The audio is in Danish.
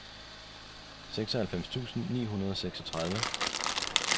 seksoghalvfems tusind ni hundrede og seksogtredive